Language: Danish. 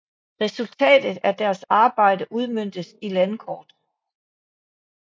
Resultatet af deres arbejde udmøntes i landkort